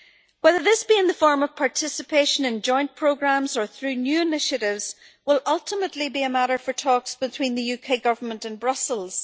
Whether this be in the form of participation in joint programmes or through new initiatives will ultimately be a matter for talks between the UK Government and Brussels.